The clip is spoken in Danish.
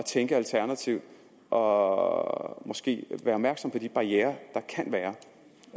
tænke alternativt og måske være opmærksom på de barrierer der